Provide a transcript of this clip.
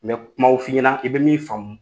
N bɛ kumaw f ii ɲɛna i bɛ min faamu